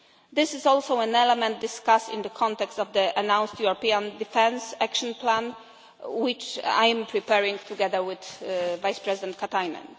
This is also an element discussed in the context of the announced European Defence Action Plan which I am preparing together with Vice-President Katainen.